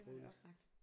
Prøve lidt